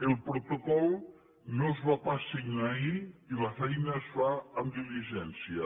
el protocol no es va pas signar ahir i la feina es fa amb diligència